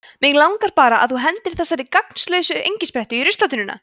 mig langar bara að þú hendir þessari gagnslausu engisprettu í ruslatunnuna